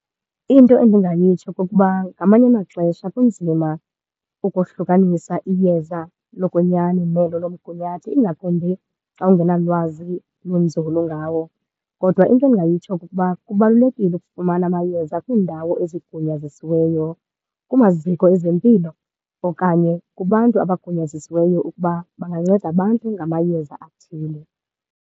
Into endingayitsho kukuba ngamanye amaxesha kunzima ukohlukanisa iyeza lokwenyani nelo lomgunyathi, ingakumbi xa ungenalwazi lunzulu ngawo. Kodwa into endingayitsho kukuba kubalulekile ukufumana amayeza kwiindawo ezigunyazisiweyo, kumaziko ezempilo okanye kubantu abagunyazisiweyo ukuba banganceda abantu ngamayeza athile.